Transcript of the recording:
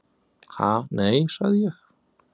"""Ha, nei, sagði ég."""